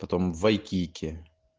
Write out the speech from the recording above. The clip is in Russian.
вайкики